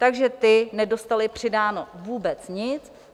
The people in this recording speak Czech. Takže ti nedostali přidáno vůbec nic.